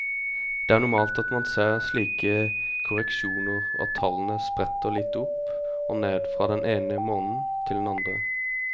Det er normalt at man ser slike korreksjoner og at tallene spretter litt opp og ned fra den ene måneden til den andre.